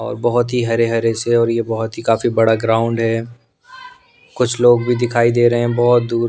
और बहुत ही हरे-हरे से और ये बहुत ही काफी बड़ा ग्राउंड हैं कुछ लोग भी दिखाई दे रहे हैं बहुत दूर --